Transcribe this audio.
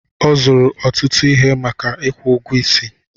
Ọ zụrụ ọtụtụ ihe maka ikwu ụgwọ isi.